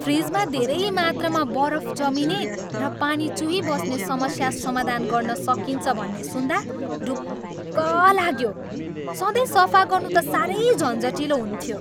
फ्रिजमा धेरै मात्रामा बरफ जमिने र पानी चुहिबस्ने समस्या समाधान गर्न सकिन्छ भन्ने सुन्दा ढुक्क लाग्यो, सधैँ सफा गर्नु त साह्रै झन्झटिलो हुन्थ्यो।